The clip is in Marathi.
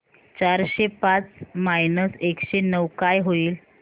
चारशे पाच मायनस एकशे नऊ काय होईल